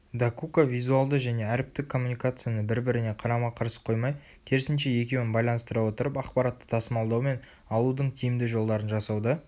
докука визуалды және әріптік коммуникацияны бір-біріне қарама-қарсы қоймай керісінше екеуін байланыстыра отырып ақпаратты тасымалдаумен алудың тиімді жолдарын жасауды